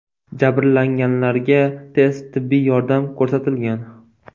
Jabrlanganlarga tez tibbiy yordam ko‘rsatilgan.